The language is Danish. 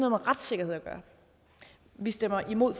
retssikkerhed at gøre vi stemmer imod